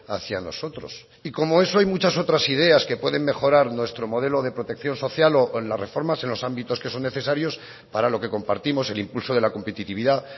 hacia nosotros y como eso hay muchas otras ideas que pueden mejorar nuestro modelo de protección social o con las reformas en los ámbitos que son necesarios para lo que compartimos el impulso de la competitividad